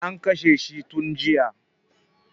An kashe shi tun jiya